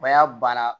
O y'a banna